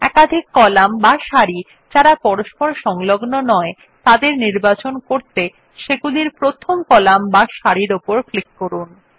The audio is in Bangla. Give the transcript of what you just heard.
একাধিক কলাম বা সারি যারা পরস্পর সংলগ্ন নয় তাদের নির্বাচিত করতে সেগুলির প্রথম কলাম বা সারির উপর ক্লিক করুন